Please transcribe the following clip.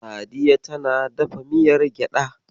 Sadiya tana dafa miyar gyaɗa.